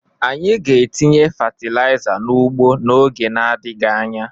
Anyị ga-etinye fatịlaịza n'ugbo n'oge adịghị anya.